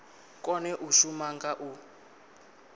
kone u shuma nga u